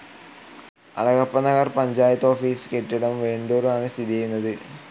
Alagappanagar panchayat office കെട്ടിടം വെണ്ടൂർ ആണ് സ്ഥിതി ചെയ്യുന്നത്.